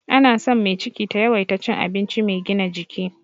Ana son mai ciki ta yawaita cin abinci mai gina jiki.